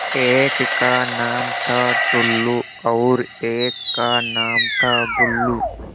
एक का नाम था टुल्लु और एक का नाम था बुल्लु